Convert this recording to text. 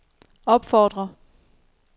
opfordrer